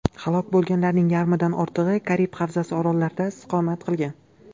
Halok bo‘lganlarning yarmidan ortig‘i Karib havzasi orollarida istiqomat qilgan.